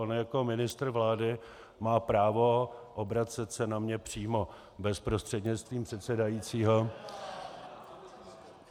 On jako ministr vlády má právo obracet se na mě přímo bez prostřednictví předsedajícího.